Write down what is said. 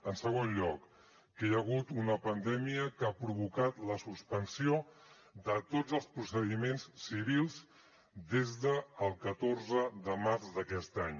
en segon lloc que hi ha hagut una pandèmia que ha provocat la suspensió de tots els procediments civils des del catorze de març d’aquest any